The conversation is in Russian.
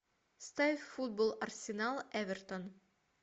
ставь футбол арсенал эвертон